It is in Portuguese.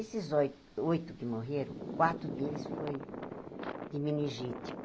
Esses oi oito que morreram, quatro deles foi de meningite.